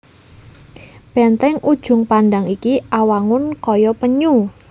Bèntèng Ujung Pandang iki awangun kaya penyu